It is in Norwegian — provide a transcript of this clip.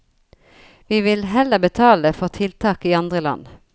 Vi vil heller betale for tiltak i andre land.